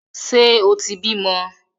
Ṣe o tí bímọ?